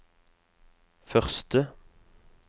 første